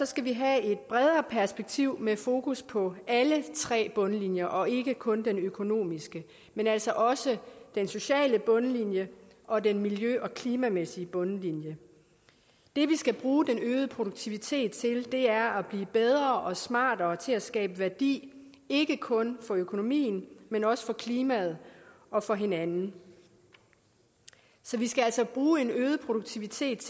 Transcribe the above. skal vi have et bredere perspektiv med fokus på alle tre bundlinjer og ikke kun den økonomiske men altså også den sociale bundlinje og den miljø og klimamæssige bundlinje det vi skal bruge den øgede produktivitet til er at blive bedre og smartere til at skabe værdi ikke kun økonomisk men også klimamæssigt og for hinanden så vi skal altså bruge en øget produktivitet